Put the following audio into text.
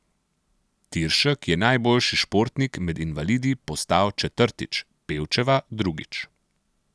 Tiršek je najboljši športnik med invalidi postal četrtič, Pevčeva drugič.